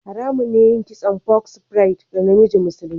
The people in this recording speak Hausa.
Haramun ne yin kitson "box braid" ga namiji musulmi.